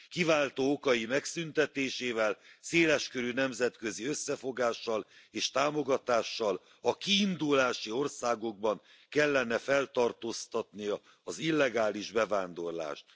Kiváltó okai megszüntetésével, széles körű nemzetközi összefogással és támogatással a kiindulási országukban kellene feltartóztatnia az illegális bevándorlást.